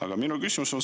Aga minu küsimus.